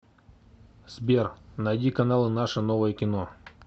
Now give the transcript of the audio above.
сбер найди каналы наше новое кино